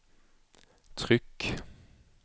tryck